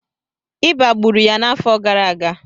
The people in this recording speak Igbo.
ịba gburu ya n'afọ gara aga